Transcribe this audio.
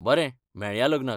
बरें मेळया लग्नाक!